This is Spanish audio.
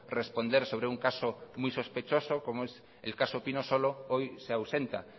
responder sobre un caso muy sospechoso como en el caso pinosolo hoy se ausenta